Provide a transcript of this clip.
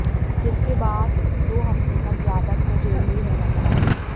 जिसके बाद दो हफ्तों तक यादव को जेल में ही रहना पड़ा